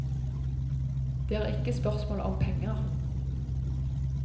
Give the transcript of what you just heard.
Det er ikke spørsmål om penger.